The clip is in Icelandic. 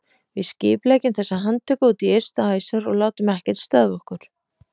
Við skipuleggjum þessa handtöku út í ystu æsar og látum ekkert stöðva okkur!